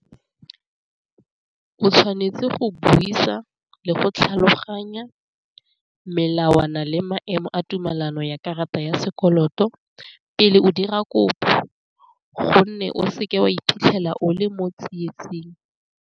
O tshwanetse go buisa le go tlhaloganya melawana le maemo a tumelano ya karata ya sekoloto pele o dira kopo, gonne o seke wa iphitlhela o le mo tsietsing.